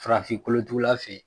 Farafin kolotugula fe yen